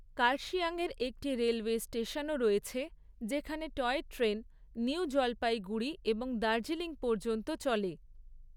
কার্শিয়াংয়ের একটি রেলওয়ে স্টেশনও রয়েছে, যেখানে টয় ট্রেন নিউ জলপাইগুড়ি এবং দার্জিলিং পর্যন্ত চলে।